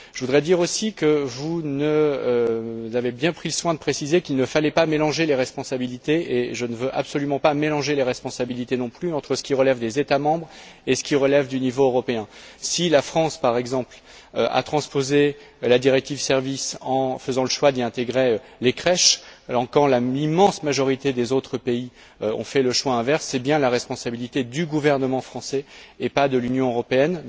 Je voudrais dire aussi que vous avez bien pris soin de préciser qu'il ne fallait pas mélanger les responsabilités et je ne veux absolument pas mélanger les responsabilités non plus, entre ce qui relève des États membres et ce qui relève du niveau européen. Si la France, par exemple, a transposé la directive sur les services en faisant le choix d'y intégrer les crèches quand l'immense majorité des autres pays ont fait le choix inverse, c'est bien la responsabilité du gouvernement français et pas de l'Union européenne.